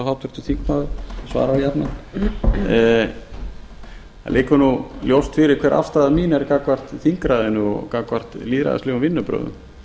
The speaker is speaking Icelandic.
háttvirtur þingmaður svarar jafnan það liggur ljóst fyrir hver afstaða mín er gagnvart þingræðinu og gagnvart lýðræðislegum vinnubrögðum